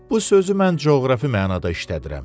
Bu sözü mən coğrafi mənada işlədirəm.